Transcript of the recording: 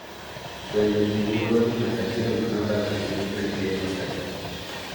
Bende, ji luoro ni ng’at achiel ma ne odak piny Britain osetho.